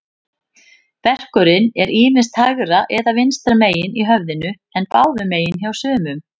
Verkurinn er ýmist hægra eða vinstra megin í höfðinu, en báðum megin hjá sumum.